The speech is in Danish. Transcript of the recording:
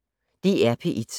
DR P1